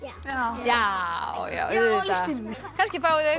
já já já auðvitað kannski fáið þið